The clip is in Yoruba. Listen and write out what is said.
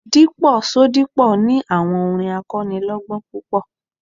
Dípò Ṣodipo ni àwọn orin akọ́nilọ́gbọ́n púpọ̀.